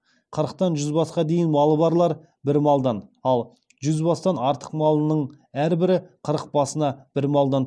қырықтан жүз басқа дейін малы барлар бір малдан ал жүз бастан артық малының әрбірі қырық басына бір малдан